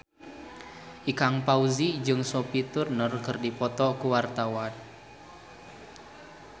Ikang Fawzi jeung Sophie Turner keur dipoto ku wartawan